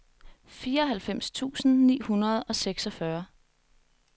fireoghalvfems tusind ni hundrede og seksogfyrre